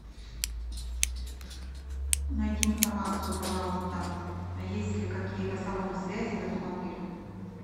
найди информацию пожалуйста есть ли какие то салоны связи в этом отеле